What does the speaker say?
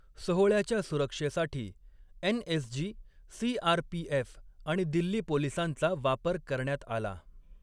सोहळ्याच्या सुरक्षेसाठी NSG., CRPF. आणि दिल्ली पोलिसांचा वापर करण्यात आला.